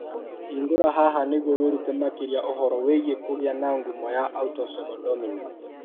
Hingũra haha nĩguo wĩrute makĩria ũhoro wĩgiĩ kũgĩa na ngumo ya autosomal dominant.